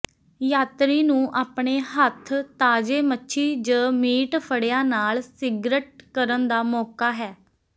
ਯਾਤਰੀ ਨੂੰ ਆਪਣੇ ਹੱਥ ਤਾਜ਼ੇ ਮੱਛੀ ਜ ਮੀਟ ਫੜਿਆ ਨਾਲ ਸਿਗਰਟ ਕਰਨ ਦਾ ਮੌਕਾ ਹੈ